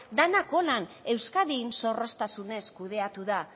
denak hola euskadin zorroztasunez kudeatu da